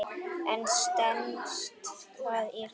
En stenst það í raun?